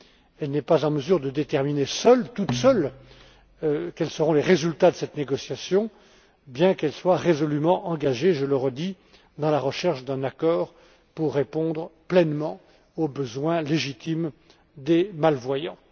Elle n'est pas en mesure de déterminer toute seule quels seront les résultats de cette négociation, bien qu'elle soit résolument engagée je le redis dans la recherche d'un accord pour répondre pleinement aux besoins légitimes des malvoyants.